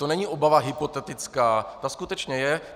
To není obava hypotetická, ta skutečně je.